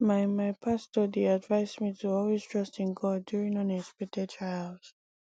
my my pastor dey advise me to always trust in god during unexpected trials